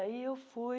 Aí eu fui